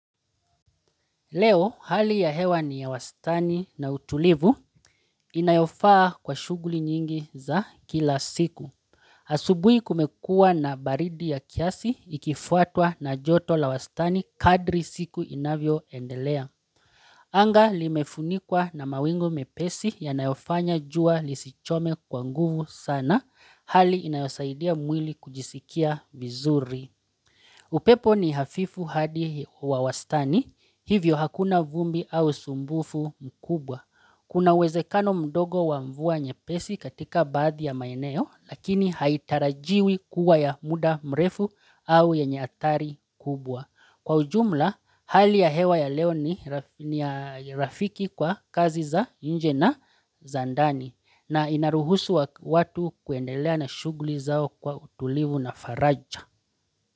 Leo, hali ya hewa ni ya wastani na utulivu inayofaa kwa shughuli nyingi za kila siku. Asubuhi kumekuwa na baridi ya kiasi, ikifuatwa na joto la wastani kadri siku inavyoendelea. Anga limefunikwa na mawingu mepesi yanayofanya jua lisichome kwa nguvu sana hali inayosaidia mwili kujisikia vizuri. Upepo ni hafifu hadi wa wastani, hivyo hakuna vumbi au usumbufu mkubwa Kuna uwezekano mdogo wa mvua nyepesi katika baadhi ya maeneo Lakini haitarajiwi kuwa ya muda mrefu au yenye athari kubwa Kwa ujumla, hali ya hewa ya leo ni rafiki kwa kazi za nje na za ndani na inaruhusu watu kuendelea na shuguli zao kwa utulivu na faraja.